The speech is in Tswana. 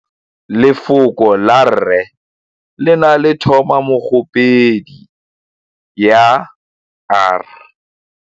Lefoko la rre le na le tumammogôpedi ya, r.